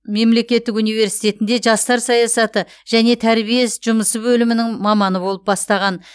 мемлекеттік университетінде жастар саясаты және тәрбие жұмысы бөлімінің маманы болып бастаған